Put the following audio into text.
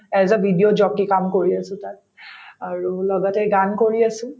as a video কাম কৰি আছো তাত আৰু লগতে গান কৰি আছো